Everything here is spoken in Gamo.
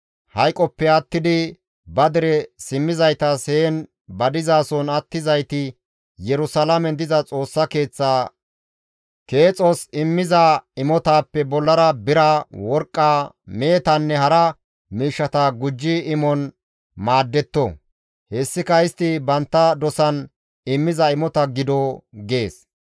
Hayqoppe attidi ba dere simmizaytas heen ba dizason attizayti Yerusalaamen diza Xoossa Keeththaa keexos immiza imotaappe bollara bira, worqqa, Mehetanne hara miishshata gujji imon maaddetto; hessika istti bantta dosan immiza imota gido» gees.